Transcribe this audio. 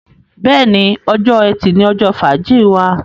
béèni, Ọjọ́ Ẹti ní ojó fàájì wá.